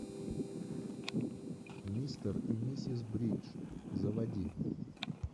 мистер и миссис бридж заводи